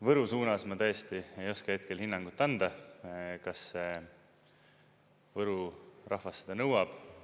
Võru suunas ma tõesti ei oska hetkel hinnangut anda, kas Võru rahvas seda nõuab.